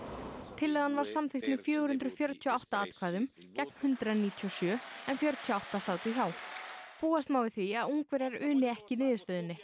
tillagan var samþykkt með fjögur hundruð fjörutíu og átta atkvæðum gegn hundrað níutíu og sjö fjörutíu og átta sátu hjá búast má við því að Ungverjar uni ekki niðurstöðunni